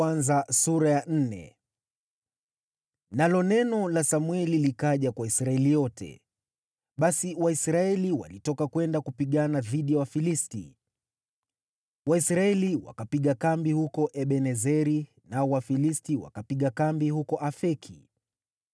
Nalo neno la Samweli likaja kwa Israeli yote. Wafilisti Wateka Sanduku La Mungu Basi Waisraeli walitoka kwenda kupigana dhidi ya Wafilisti. Waisraeli wakapiga kambi huko Ebenezeri, nao Wafilisti wakapiga kambi huko Afeki.